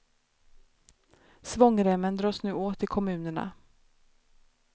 Svångremmen dras nu åt i kommunerna.